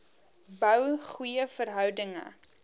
bou goeie verhoudinge